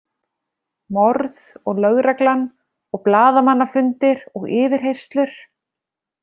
Morð og lögreglan og blaðamannafundir og yfirheyrslur.